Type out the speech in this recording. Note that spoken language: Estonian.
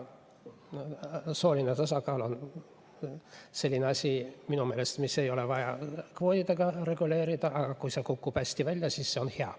Sooline tasakaal on minu meelest selline asi, mida ei ole vaja kvootidega reguleerida, aga kui see kukub hästi välja, siis see on hea.